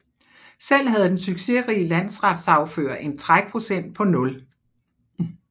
Selv havde den succesrige landsretssagfører en trækprocent på nul